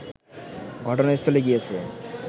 ঘটনাস্থলে গিয়েছে